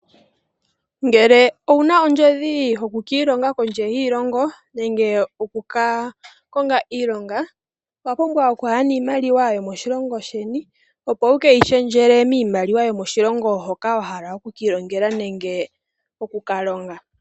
Ngele owu na ondjodhi yoku ka ilonga kondje yiilongo nenge oku ka konga iilonga, owa pumbwa oku ya niimaliwa yomoshilongo sheni opo wu keyi shendjele miimaliwa yokoshilongo hoka wa hala oku kiilongela nenge oku ka longa.